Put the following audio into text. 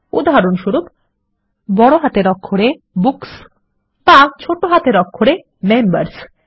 উদাহরণস্বরূপ বড় হাতের অক্ষরে বুকস বা ছোট হাতের অক্ষরে মেম্বার্স